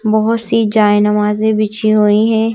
बहुत सी जाय नमाजें बिछी हुई हैं।